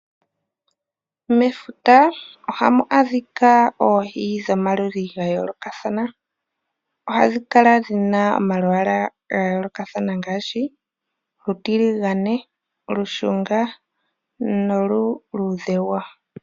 Mefuta ohamu adhika oohi dhomaludhi ga yoolokathana. Ohadhi kala nomalwaala ga yoolokathana ngaashi olutiligane, olushunga noluluudhe wo.